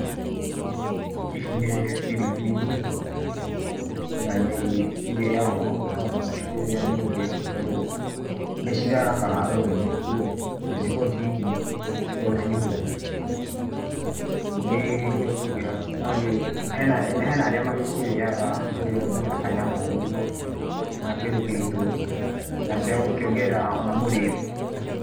Ici nĩ biribiri na nĩ ĩrĩagwo, no ndũngĩkĩrĩa nyingĩ tondũ nĩ cirarakaga rũrĩmĩ cikoragwo ciĩ hiũ, cikoragwo ciĩ hũthũ, nĩ ihiũhagio no hena arĩa magĩcirĩaga, ũgatinia na kanyama ũguo kana kĩndũ kĩritũ kana cia gũkiongerera ona mũrĩre.